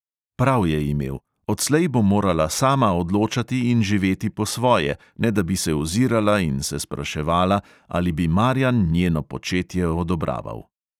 Prav je imel: odslej bo morala sama odločati in živeti po svoje, ne da bi se ozirala in se spraševala, ali bi marjan njeno početje odobraval.